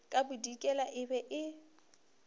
ka bodikela e be e